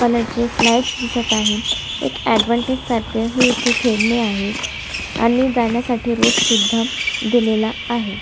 Colour चे slides दिसत आहे एक एडवांटेज सारख हे इथ खेळणी आहेत आणि जाण्यासाठी रोडसुद्धा दिलेला आहे.